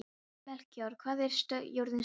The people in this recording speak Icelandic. Melkíor, hvað er jörðin stór?